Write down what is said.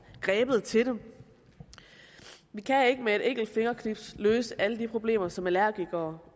grebet til dem vi kan ikke med et enkelt fingerknips løse alle de problemer som allergikere